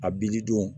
A b'i di don